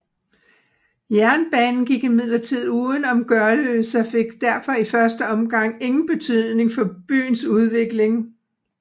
Jernbanen gik imidlertid uden om Gørløse og fik derfor i første omgang ingen betydning for byens udvikling